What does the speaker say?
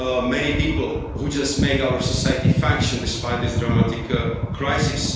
of many people who just make our society function despite this dramatic crisis.